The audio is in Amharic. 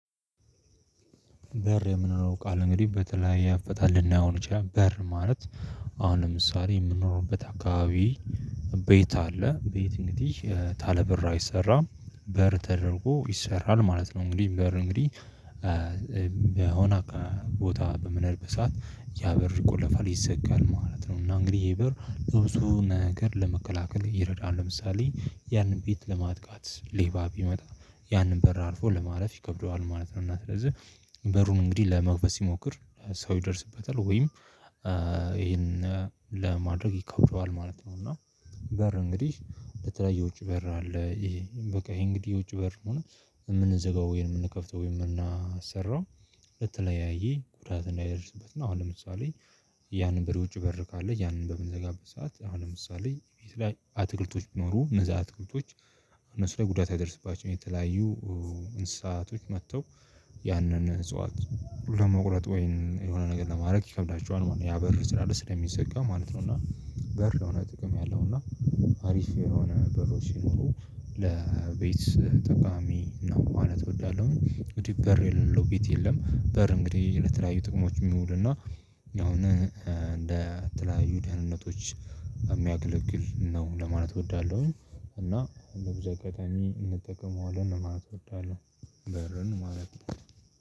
በር የምንለው ቃል እንግዲህ በተለያየ አፈታት ልናየው እንችላለን በር ማለት። አሁንም ለምሳሌ የምንኖርበት አካባቢ ቤት አለ። ቤት እንግዲህ ታለበር አይሰራም በር ተደርጎ ይሰራል ማለት ነው። እንግዲህ በር እንግዲህ በሆነ ቦታ በምንኖርበት ሰዓት ያበር ይቆለፋል ሊዘጋል ማለት ነው። እና እንግዲህ ይሄ በር ለብዙ ነገር ለመከላከል ይረዳል ለምሳሌ ያንን ቤት ለማጥቃት ሌባ ቢመጣ ያንን በር አልፎ ለማለፍ ይከብደዋል ማለት ነው። እና ስለዚህ በሩን እንግዲህ ለመግበስ ሲሞክር ሰው ይደርስበታል ወይም ይሄንን ለማድረግ ይከብደዋል ማለት ነው። እና በር እንግዲህ በተለየ ውጭ በር አለ። ይሄ በቃ ይሄ እንግዲህ ውጭ በር ከሆነ የምንዘጋው ወይን የምንከፍተው ወይን የምናሰራው ለተለያየ ጉዳት እንዳይደርስበት። እና አሁን ለምሳሌ ያንን በውጭ በር ካለ ያንን በምንዘጋበት ሰዓት አሁን ለምሳሌ ቤት ላይ አትክልቶች ቢኖሩ እነዛ አትክልቶች እነሱ ላይ ጉዳት ያደረሰባቸው የተለያዩ እንስሳቶች መጥተው ያንን እጽዋት ለመቁረጥ ወይን የሆነ ነገር ለማድረግ ይከብዳቸዋል ማለት ነው። ያ በር ስላለ ስለሚዘጋ ማለት ነው። እና በር ለሆነ ጥቅም ያለው እና አሪፍ የሆነ በሮች ሲኖሩ ለቤት ጠቃሚ ነው ማለት እወዳለሁ። እንግዲህ በር የሌለው ቤት የለም። በር እንግዲህ በር ለተለያዩ ጥቅሞች የሚውል እና አሁን እንደ ተለያዩ ደህንነቶች የሚያገለግል ነው ለማለት እወዳለሁኝ። እና ለብዙ አጋጣሚ እንጠቀመዋለን ማለት እወዳለሁ። በርን ማለት ነው።